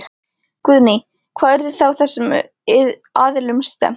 Guðný: Hvar yrði þá þessum aðilum stefnt?